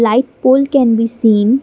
ai pole can be seen.